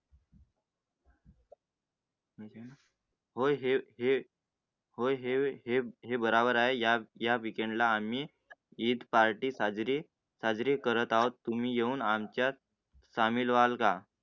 हो हे होय हे बरोबर आहे, या या weekend ला आम्ही ईद party साजरी साजरी करत आहोत. तुम्ही येऊन आमच्यात शामिल वाल का?